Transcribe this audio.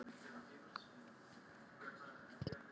Geta fatlaðir stundað þær íþróttir sem að þá langar til?